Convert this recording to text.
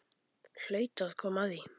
Hlaut að koma að því.